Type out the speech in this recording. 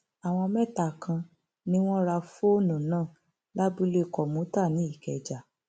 àwọn mẹta kan ni wọn ra fóònù náà lábúlé kọmùtà nìkẹjà